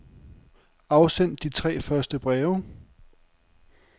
Afsend de tre første breve.